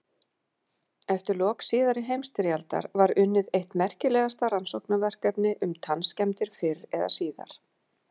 Eftir lok síðari heimsstyrjaldar var unnið eitt merkilegasta rannsóknarverkefni um tannskemmdir fyrr eða síðar.